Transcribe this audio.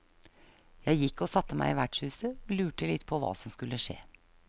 Jeg gikk og satt meg i vertshuset og lurte litt på hva som skulle skje.